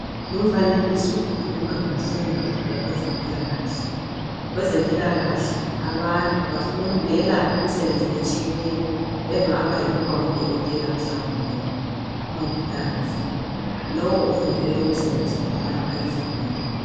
Lumfanekiso ukhuluma ngemfundo yakwezempilakahle, kwezempilakahle abantu bafundela imisebenzi etshiyeneyo engaba yikuba ngudokotela mhlawumbe umongikazi lowo ofundele lowo msebenzi uyelapha izigulane.